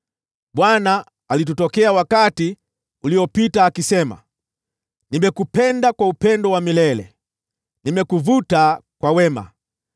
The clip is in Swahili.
Bwana alitutokea wakati uliopita, akisema: “Nimekupenda kwa upendo wa milele, nimekuvuta kwa wema.